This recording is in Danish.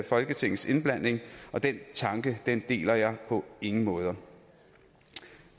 folketingets indblanding og den tanke deler jeg på ingen måde